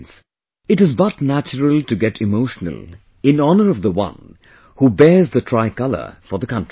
Friends, it is but natural to get emotional in honour of the one who bears the Tricolour in honour of the country